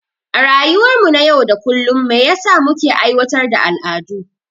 A rayuwar mu na yau da kullum me yasa muke aiwatar da al'adu?